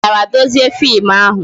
I mechara dezie fim ahụ?